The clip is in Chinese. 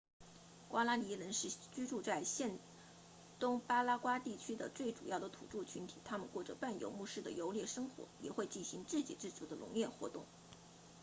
瓜拉尼人 guaraní 是居住在现东巴拉圭地区的最重要的土著群体他们过着半游牧式的游猎生活也会进行自给自足的农业活动